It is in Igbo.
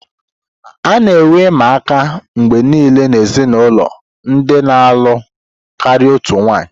A na-enwe ịma aka mgbe niile n'ezinụlọ ndị na-alụ karịa otu nwanyị.